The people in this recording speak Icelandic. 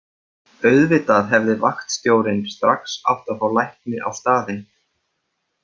Auðvitað hefði vaktstjórinn strax átt að fá lækni á staðinn.